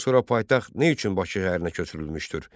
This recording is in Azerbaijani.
Şamaxıdan sonra paytaxt nə üçün Bakı şəhərinə köçürülmüşdür?